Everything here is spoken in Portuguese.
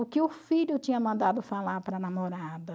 O que o filho tinha mandado falar para a namorada.